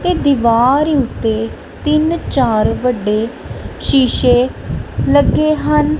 ਤੇ ਦੀਵਾਰ ਉੱਤੇ ਤਿੰਨ ਚਾਰ ਵੱਡੇ ਸ਼ੀਸ਼ੇ ਲੱਗੇ ਹਨ।